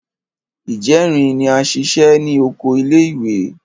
Ìjẹrin ni a ṣiṣẹ́ ní oko ilé ìwé.